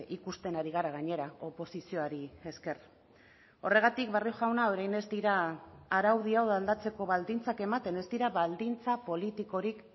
ikusten ari gara gainera oposizioari esker horregatik barrio jauna orain ez dira araudi hau aldatzeko baldintzak ematen ez dira baldintza politikorik